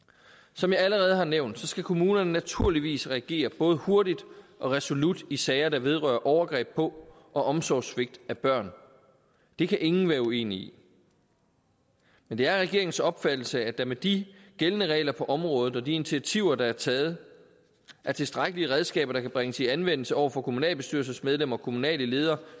som jeg allerede har nævnt skal kommunerne naturligvis reagere både hurtigt og resolut i sager der vedrører overgreb på og omsorgssvigt af børn det kan ingen være uenig i men det er regeringens opfattelse at der med de gældende regler på området og de initiativer der er taget er tilstrækkelige redskaber der kan bringes i anvendelse over for kommunalbestyrelsesmedlemmer og kommunale ledere